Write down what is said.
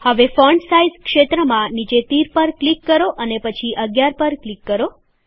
હવે font size ક્ષેત્રમાં નીચે તીર પર ક્લિક કરો અને પછી ૧૧ પર ક્લિક કરો